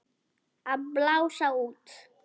Að blása út.